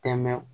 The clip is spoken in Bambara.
Tɛmɛ